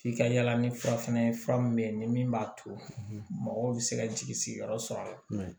F'i ka yala ni fura fɛnɛ ye fura min ni min b'a to mɔgɔw bi se ka jigi sigiyɔrɔ sɔrɔ a la